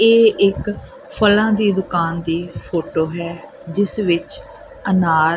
ਇਹ ਇੱਕ ਫਲਾਂ ਦੀ ਦੁਕਾਨ ਦੀ ਫੋਟੋ ਹੈ ਜਿਸ ਵਿੱਚ ਅਨਾਰ--